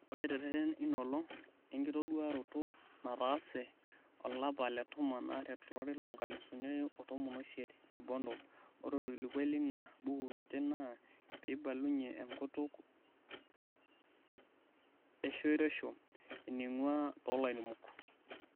Ore tereten einaolong enkitoduaroto nataase olapa letomon are tolari lonkalusuni are otomon oisiet te Bondo, ore orkilikuai leina buku kiti naa peibalunyie enkutuk eshoreisho eneingua tolairemok.